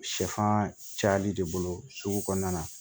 Sɛfan cayali de bolo sugu kɔnɔna na